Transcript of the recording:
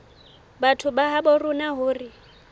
batho ba habo rona hore